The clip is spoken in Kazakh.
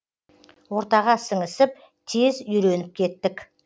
ортаға сіңісіп тез үйреніп кеттік